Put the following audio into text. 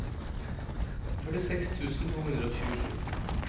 førtiseks tusen to hundre og tjuesju